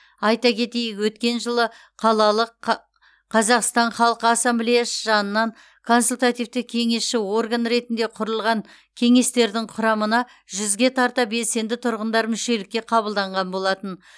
айта кетейік өткен жылы қалалық қа қазақстан халқы ассамблеясы жанынан консультативті кеңесші орган ретінде құрылған кеңестердің құрамына жүзге тарта белсенді тұрғындар мүшелікке қабылданған болатын